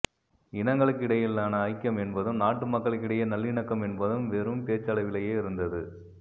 இனங்களுக்கிடையிலான ஐக்கியம் என்பதும் நாட்டு மக்களிடையே நல்லிணக்கம் என்பதும் வேறும் பேச்சளவிலேயே இருந்தது